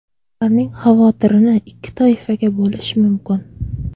Ularning xavotirini ikki toifaga bo‘lish mumkin.